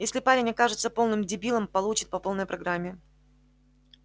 если парень окажется полным дебилом получит по полной программе